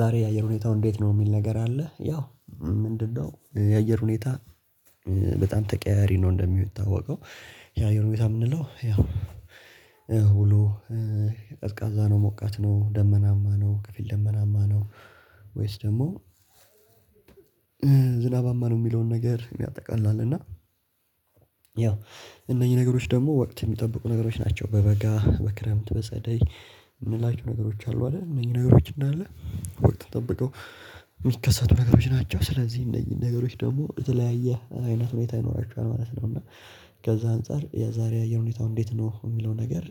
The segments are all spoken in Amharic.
ዛሬ የአየር ሁኔታው እንዴት ነው? የሚል ነገር አለ ያው ምንድነው የአየር ሁኔታ በጣም ተቀያያሪ ነው እንደሚታወቀው የአየር ሁኔታ የምንለው ያው ውሎ ቀዝቃዛ ነው፣ ሞቃት ነው፣ ደመናማ ነው፣ ክፍል ደመናማ ነው ወይስ ደግሞ ዝናባማ ነው የሚለውን ነገር ያጠቃላል እና ያው እነኚህ ነገሮች ደግሞ ወቅት የሚጠብቁ ነገሮች ናቸው በበጋ በክረምት በጸደይ የምንላቸው ነገሮች አሉ አይደል እነዚህ ነገሮች እንዳለ ወቅት ጠብቀው የሚከሰቱ ነገሮች ናቸው ስለዚህ ነገሮች ደግሞ የተለያየ አይነት ሁኔታ ይኖራቸዋል ማለት ነው እና ከዛ አንፃር የዛሬ የሁኔታው እንዴት ነው የሚለው ነገር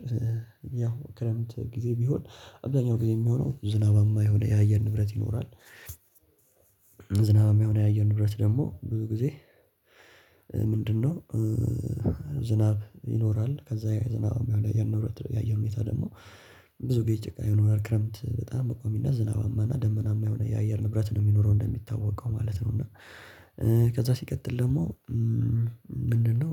ያው ክረምት ጊዜ ቢሆን አብዛኛው ጊዜ የሚሆነው ዝናባ የማይሆነ ያየን ንብረት ይኖራል። ዝናብ የማይሆነ ያየር ንብረት ደግሞ ብዙ ጊዜ ምንድነው ዝናብ ይኖራል ከዛ ዝናብ የአየር ሁኔታ ደግሞ ብዙ ጭቃ ይኖራል ክረምት በጣም በቆም ዝናባማ እና ደመናማ የሆነ የአየር ንብረት ነው የሚኖረው እንደሚታወቀው ማለት ነው እና ከዛ ሲቀጥል ደግሞ ምንድነው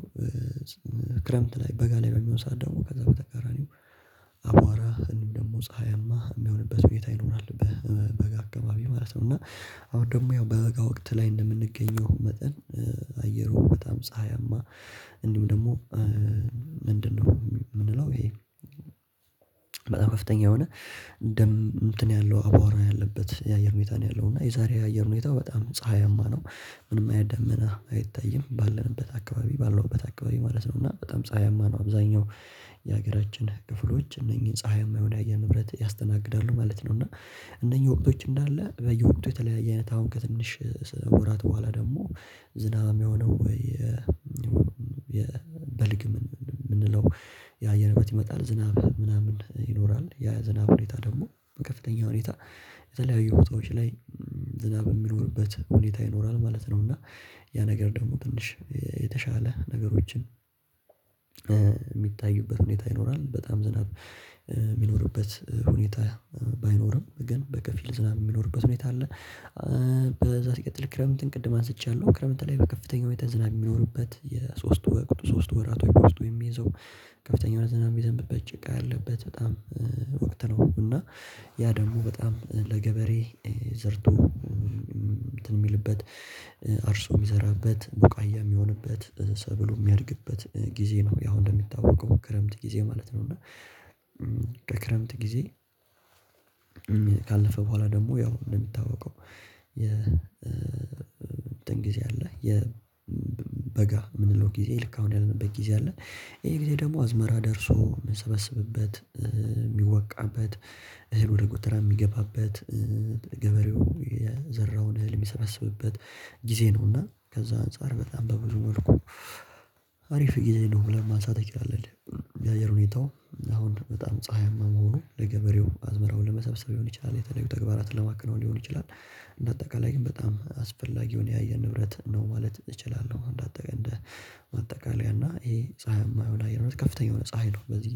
ክረምት ላይ በጋ ላይ በሚሆን ሰዓት ደግሞ ከዛ በተቃራኒው አቧራህ እንዲህ ደግሞ ፀሀያማ የሚሆንበት ሁኔታ ይኖራል በበጋ አካባቢ ማለት ነው እና አሁን ደግሞ ያው በበጋ ወቅት ላይ እንደምንገኘው መጠን አየሩ በጣም ፀሀያማ እንዲሁ ደግሞ ምንድነው የምንለው ይሄ በጣም ከፍተኛ የሆነ ደም እንትን ያለው አቧራ ያለበት የአየር ሁኔታ ነው ያለው እና የዛሬ የአየር ሁኔታው በጣም ፀሀይማ ነው ምንም አይነት ደመና አይታይም ባለንበት አካባቢ ባለሁበት አካባቢ ማለት ነው እና በጣም ፀሀያማ ነው አብዛኛው የሀገራችን ክፍሎች እነኚህን ፀሀይማ የሆነ የአየር ንብረት ያስተናግዳሉ ማለት ነው እና እነኚህ ወቅቶች እንዳለ በየወቅቱ የተለያየ አይነት አሁን ከትንሽ ወራት በኋላ ደግሞ ዝናብ የሆነው ወይ የበልግ ምንለው ያአየር ንብረት ይመጣል ዝናብ ምናምን ይኖራል ያ የዝናብ ሁኔታ ደግሞ ከፍተኛ ሁኔታ የተለያዩ ቦታዎች ላይ ዝናብ የሚኖርበት ሁኔታ ይኖራል ማለት ነው እና ያ ነገር ደግሞ ትንሽ የተሻለ ነገሮችን የሚታዩበት ሁኔታ ይኖራል በጣም ዝናብ የሚኖርበት ሁኔታ ባይኖርም ግን በከፊል ዝናብ የሚኖርበት ሁኔታ አለ፣ ከዛ ሲቀጥል ክረምትን ቅድም አንስቻለሁ ክረምት ላይ በከፍተኛው ሁኔታ ዝናብ የሚኖርበት የሶስቱ ወቅት ሶስት ወራት በዉስጡ የሚይዘው ከፍተኛ የሆነ ዝናብ የሚዘንብበት ጭቃ ያለበት በጣም ወቅት ነው እና ያ ደግሞ በጣም ለገበሬ ዘርቶ እንትን የሚልበት አርሶ የሚዘራበት ቡቃያ የሚሆንበት ሰብሉ የሚያድግበት ጊዜ ነው ያው እንደሚታወቀው ክረምት ጊዜ ማለት ነው እና ከክረምት ጊዜ ካለፈ በኋላ ደግሞ ያው እንደሚታወቀው የእንትን ጊዜ አለ የበጋ የምንለው ጊዜ ልክ አሁን ያለንበት ጊዜ አለ ይሄ ጊዜ ደግሞ አዝመራ ደርሶ የሚሰበሰብበት፣ የሚወቃበት፣ እህል ወደ ጎተራ የሚገባበት፣ ገበሬው የዘራውን እልም የሚሰበስብበት ጊዜ ነውና ከዛ አንፃር በጣም በብዙ መልኩ አሪፍ ጊዜ ነው ብለን ማንሳት እንችላልን የአየር ሁኔታው አሁን በጣም ፀሀይማ መሆኑ ለገበሬው አዝመራው ለመሰብሰብ ይሆን ይችላል፣ የተለዩ ተግባራትን ለማከናወን ሊሆን ይችላል እንደ አጠቃላይ ግን በጣም አስፈላጊውን የአየር ንብረት ነው ማለት እችላለሁ እንደ አጠቃላይ እና ይሄ ፀሀይማ የሆነ አየር ንብረት ከፍተኛ የሆነ ፀሀይ ነው በዚህ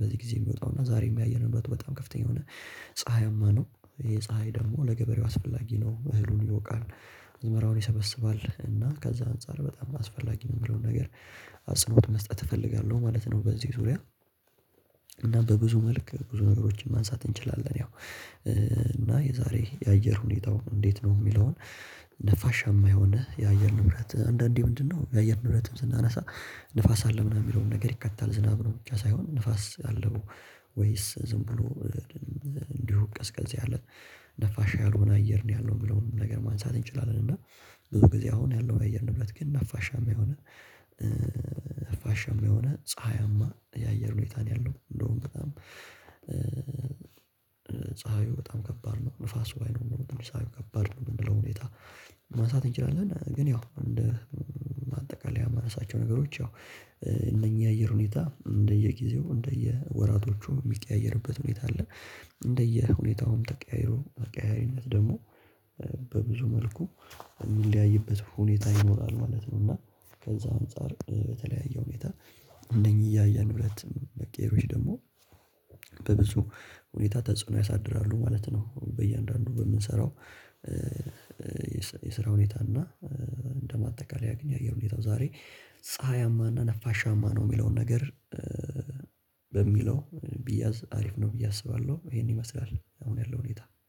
በዚህ ጊዜ የሚወጣው እና ዛሬ የሚያየንበት በጣም ከፍተኛ የሆነ ፀሀይማ ነው ይሄ ፀሀይ ደግሞ ለገበሬው አስፈላጊ ነው እህሉን ይወቃል አዝመራውን ይሰበስባል እና ከዛ አንፃር በጣም አስፈላጊ የሚለውን ነገር አጽንኦት መስጠት እፈልጋለሁ ማለት ነው በዚህ ዙሪያ እና በብዙ መልክ ብዙ ነገሮችን ማንሳት እንችላለን ያው እና የዛሬ የአየር ሁኔታው እንዴት ነው የሚለውን ነፋሻማ የሆነ የአየር ንብረት አንዳንዴ ምንድነው የአየር ንብረትም ስናነሳ ንፋስ አለ ምናምን የሚለውን ነገር ይካተታል ዝናብ ነው ብቻ ሳይሆን ንፋስ አለው ወይስ ዝም ብሎ እንዲሁ ቀዝቀዝ ያለ ነፋሻ ያልሆነ አየር ነው ያለው የሚለውን ነገር ማንሳት እንችላለን እና ብዙ ጊዜ አሁን ያለውን አየር ንብረት ግን ነፋሻማ የሆነ ነፋሻማ የሆነ ፀሀያማ የአየር ሁኔታ ነው ያለው እንደውም በጣም ፀሀዩ በጣም ከባድ ነው ነፋሱ ባይኖር ኖሮ ፀሀዩ ከባድ ነው ያለው ሁኔታ ማንሳት እንችላለን ግን ያው እንደ አጠቃላይ የማነሳቸው ነገሮች ያው እነኚህ አየር ሁኔታ እንደየጊዜው እንደየወራቶቹ የሚቀያየርበት ሁኔታ አለ እንደየሁኔታውም ተቀያይሮ ተቀያያሪነት ደግሞ በብዙ መልኩ የሚለያይበት ሁኔታ ይኖራል ማለት ነው እና ከዛ አንፃር በተለያየ ሁኔታ እነዚህ የአየር ንብረት መቀየሮች ደግሞ በብዙ ሁኔታ ተጽዕኖ ያሳድራሉ ማለት ነው በእያንዳንዱ በምንሰራው የስራ ሁኔታ እና እንደ ማጠቃለያ ግን የአየር ሁኔታው ዛሬ ፀሀያማ እና ነፋሻማ ነው የሚለውን ነገር በሚለው ቢያዝ አሪፍ ነው ብዬ አስባለሁ ይሄን ይመስላል አሁን ያለው ሁኔታ።